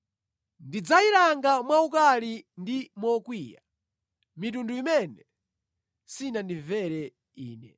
Ndidzayilanga mwaukali ndi mokwiya mitundu imene sinandimvere Ine.”